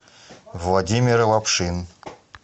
владимир лапшин